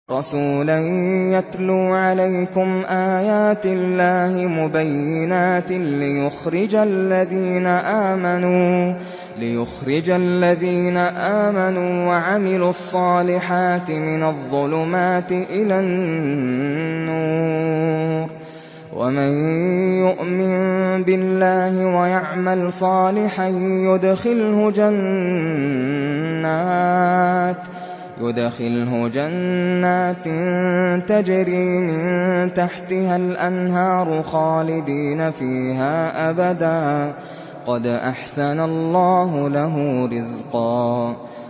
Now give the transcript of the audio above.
رَّسُولًا يَتْلُو عَلَيْكُمْ آيَاتِ اللَّهِ مُبَيِّنَاتٍ لِّيُخْرِجَ الَّذِينَ آمَنُوا وَعَمِلُوا الصَّالِحَاتِ مِنَ الظُّلُمَاتِ إِلَى النُّورِ ۚ وَمَن يُؤْمِن بِاللَّهِ وَيَعْمَلْ صَالِحًا يُدْخِلْهُ جَنَّاتٍ تَجْرِي مِن تَحْتِهَا الْأَنْهَارُ خَالِدِينَ فِيهَا أَبَدًا ۖ قَدْ أَحْسَنَ اللَّهُ لَهُ رِزْقًا